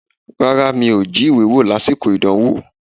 Rárá, mi ò jí ìwé wò lásìkò ìdánwò.